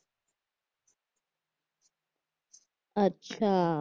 अच्छा